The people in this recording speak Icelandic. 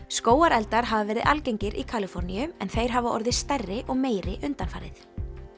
skógareldar hafa verið algengir í Kaliforníu en þeir hafa orðið stærri og meiri undanfarið